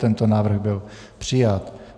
Tento návrh byl přijat.